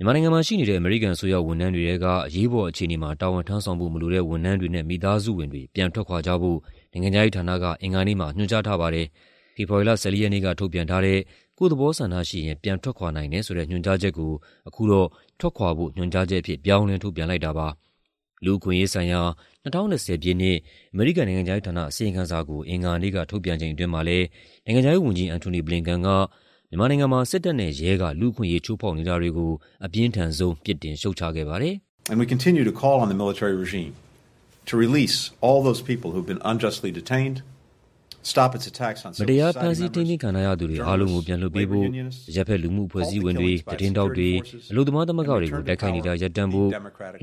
မြန်မာနိုင်ငံမှာရှိနေတဲ့ အမေရိကန်အစိုးရ ဝန်ထမ်းတွေထဲက အရေးပေါ်အခြေအနေမှာ တာဝန်ထမ်းဆောင်ဖို့မလိုတဲ့ ဝန်ထမ်းတွေနဲ့ မိသားစုဝင်တွေ ပြန်ထွက်ခွာကြဖို့ နိုင်ငံခြားရေးဌာနက အင်္ဂါနေ့မှာ ညွှန်ကြားထားပါတယ်။ ဖေဖော်ဝါရီလ ၁၄ ရက်နေ့က ထုတ်ပြန်ထားတဲ့ ကိုယ့်သဘောဆန္ဒရှိရင် ပြန်ထွက်ခွာနိုင်တဲ့ ညွှန်ကြားချက်ကို အခုတော့ "ထွက်ခွာဖို့ ညွှန်ကြားချက်" အဖြစ် ပြောင်းလဲထုတ်ပြန်လိုက်တာပါ။ လူ့အခွင့်အရေးဆိုင်ရာ ၂၀၂၀ ပြည့်နှစ် အမေရိကန်နိုင်ငံခြားရေးဌာန အစီရင်ခံစာကို အင်္ဂါနေ့က ထုတ်ပြန်ချိန်အတွင်းမှာလည်း နိုင်ငံခြားရေးဝန်ကြီး Antony Blinken က မြန်မာနိုင်ငံမှာ စစ်တပ်နဲ့ရဲက လူ့အခွင့်အရေးချိုးဖောက်နေတာတွေကို အပြင်းထန်ဆုံး ပြစ်တင်ရှုတ်ချခဲ့ပါတယ်။ "မတရား ဖမ်းဆီးထိန်းသိမ်းခံထားရသူတွေ အားလုံးကို ပြန်လွှတ်ပေးဖို့၊ အရပ်ဘက်လူမှုအဖွဲ့အစည်းဝင်တွေ၊ သတင်းထောက်တွေ၊ အလုပ်သမားသမဂ္ဂတွေကို တိုက်ခိုက်နေတာ ရပ်တန့်ဖို့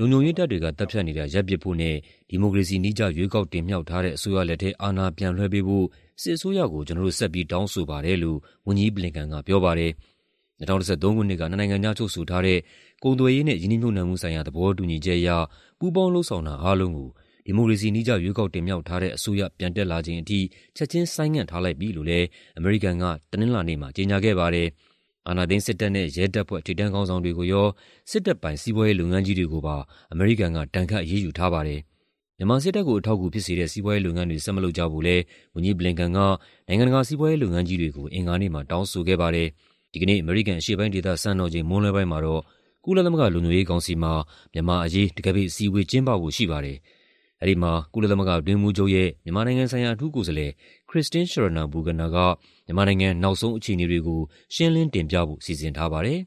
၊ လုံခြုံရေးတပ်တွေက သတ်ဖြတ်နေတာ ရပ်ပစ်ဖို့နဲ့ ဒီမိုကရေစီနည်းကျ ရွေးကောက်တင်မြှောက်ထားတဲ့ အစိုးရလက်ထဲ အာဏာပြန်လွှဲပေးဖို့ စစ်အစိုးရကို ကျနော်တို့ ဆက်ပြီးတောင်းဆိုပါတယ်" လို့ ဝန်ကြီး Blinken ကပြောပါတယ်။ ၂၀၁၃ ခုနှစ်က နှစ်နိုင်ငံကြား ချုပ်ဆိုထားတဲ့ ကုန်သွယ်ရေးနဲ့ ရင်းနှီးမြှုပ်နှံမှုဆိုင်ရာ သဘောတူညီချက်အရ ပူးပေါင်းလုပ်ဆောင်တာအားလုံးကို ဒီမိုကရေစီနည်းကျ ရွေးကောက်တင်မြှောက်ထားတဲ့ အစိုးရ ပြန်တက်လာချိန်ထိ ချက်ခြင်းဆိုင်းငံ့ထားလိုက်ပြီလို့လည်း အမေရိကန်က တနင်္လာနေ့မှာ ကြေညာခဲ့ပါတယ်။ အာဏာသိမ်းစစ်တပ်နဲ့ ရဲတပ်ဖွဲ့ ထိပ်တန်းခေါင်းဆောင်တွေကိုရော၊ စစ်တပ်ပိုင် စီးပွားရေးလုပ်ငန်းကြီးတွေကိုပါ အမေရိကန်က ဒဏ်ခတ်အရေးယူထားပါတယ်။ မြန်မာစစ်တပ်ကို အထောက်အကူဖြစ်စေတဲ့ စီးပွားရေးလုပ်ငန်းတွေ ဆက်မလုပ်ကြဖို့လည်း ဝန်ကြီး Blinken က နိုင်ငံတကာ စီးပွားရေးလုပ်ငန်းကြီးတွေကို အင်္ဂါနေ့မှာ တောင်းဆိုခဲ့ပါတယ်။ ဒီကနေ့ အမေရိကန် အရှေ့ပိုင်းဒေသစံတော်ချိန် မွန်းလွဲပိုင်းမှာတော့ ကုလသမဂ္ဂလုံခြုံရေးကောင်စီမှာ မြန်မာ့အရေး တံခါးပိတ်အစည်းအဝေး ကျင်းပဖို့ရှိပါတယ်။ အဲဒီမှာ ကုလသမဂ္ဂအတွင်းရေးမှူးချုပ်ရဲ့ မြန်မာနိုင်ငံဆိုင်ရာ အထူးကိုယ်စားလှယ် Christine Schraner Burgener က မြန်မာနိုင်ငံ နောက်ဆုံးအခြေအနေတွေကို ရှင်းလင်းတင်ပြဖို့ စီစဉ်ထားပါတယ်။